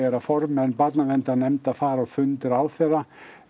að formenn barnaverndarnefnda fara á fund ráðherra